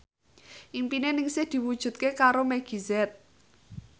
impine Ningsih diwujudke karo Meggie Z